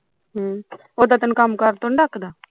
ਓਦਾ ਤੇਨੂੰ ਕੰਮ ਕਰ ਤੋਂ ਨੀ ਡਕਦਾ